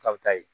K'a bɛ taa yen